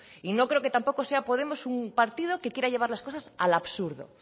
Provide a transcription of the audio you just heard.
y no creo que tampoco sea podemos un partido que quiera llevar las cosas al absurdo